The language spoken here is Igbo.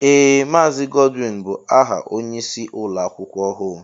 Ee Maazi Godwin bụ aha ónyé ịsị ụlọakwụkwọ ọhụụ.